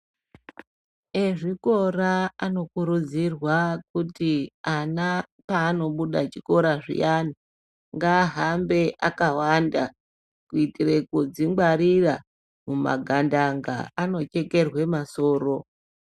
Ezvikora anokurudzirwa kuti ana paanobuda chikora zviyane ,ngaahambe akawanda kuitira kudzingwarira mumagandanga .Anochekerwe masoro.